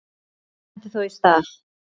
Sumt stendur þó í stað.